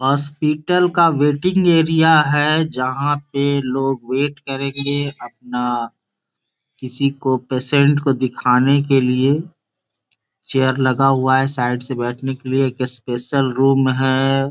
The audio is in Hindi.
हॉस्पिटल का वेटिंग एरिया है जहाँ पे लोग वेट करेंगे अपना किसी को पेशेंट को दिखाने के लिए चेयर लगा हुआ है साइड से बैठने के लिए ये स्पेशल रूम है।